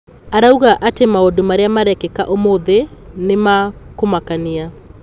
Arauga atĩ maũndũ marĩa marekĩka ũmũthĩ nĩ ma kũmakania.